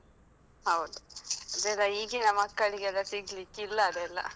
ಹೌದು ಅದೆಲ್ಲ ಈಗಿನ ಮಕ್ಕಳಿಗೆಲ್ಲ ಸಿಗ್ಲಿಕ್ಕಿಲ್ಲ ಅದೆಲ್ಲ.